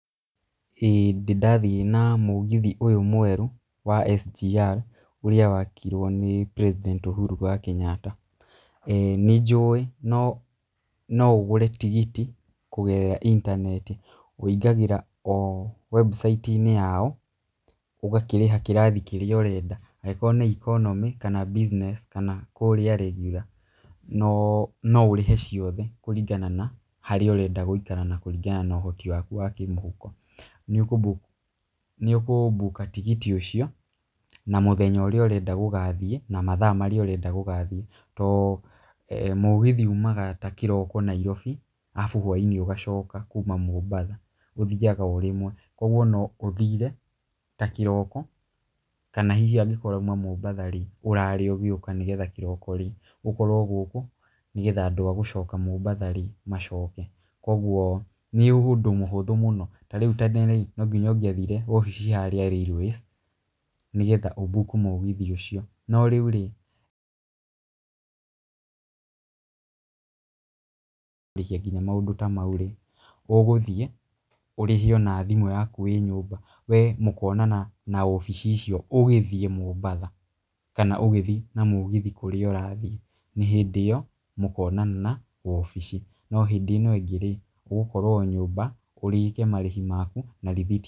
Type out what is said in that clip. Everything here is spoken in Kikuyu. Hĩndĩ ndathiĩ na mũgithi ũyũ mwerũ wa SGR ũrĩa wakirwo nĩ President Ũhuru wa Kenyatta. Nĩ njũĩ no ũgũre tigiti kũgerera internet, ũingagĩra website yao ũgakĩrĩhainĩ kĩrathi kĩrĩa ũrenda. Angĩkorwo nĩ economy kana business kana kũrĩa regular no ũrĩhe ciothe kũringana na harĩa ũrenda gũikara na kũringana na ũhoti waku wa kĩmũhuko. Nĩ ũkũ book tigiti ũcio na mũthenya ũrĩa ũrenda gũgathiĩ na mathaa marĩa ũrenda gũgathiĩ. Tondũ mũgithi umaga ta kĩroko Nairobi arabu hwaiinĩ ũgacoka kuma Mombasa, ũthiaga o rĩmwe. Koguo no ũthire ta kĩroko kana hihi angĩkorwo urauma Mombasa rĩ, ũrare ũgĩũka nĩgetha kĩroko rĩ, ũkorwo gũkũ. Nĩgetha andũ a gũcoka Mombasa rĩ, macoke. Koguo nĩ ũndũ mũhũthũ mũno. Ta rĩu no nginya ũngĩathire wabici harĩa Railways nĩgetha ũ book mũgithi ũcio. No rĩu rĩ [blank] nginya maũndũ ta mau rĩ, ũgũthiĩ ũrĩhio na thimũ yaku wĩ nyũmba. We mũkonana na wabici icio ũgĩthiĩ Mombasa kana ũgĩthiĩ na mũgithi kũrĩa ũrathiĩ, nĩ hĩndĩ ĩyo mũkonana na wabici. No hĩndĩ ĩno ĩngĩ rĩ, ũgũkorwo o nyũmba ũrĩhe marĩhi maku na rĩthiti...